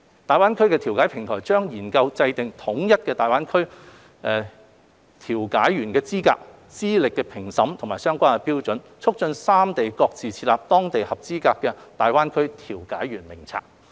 大灣區調解平台將研究制訂統一的大灣區調解員資格、資歷評審及相關標準，促進三地各自設立當地的合資格大灣區調解員名冊。